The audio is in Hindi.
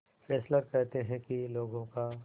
फेस्लर कहते हैं कि लोगों का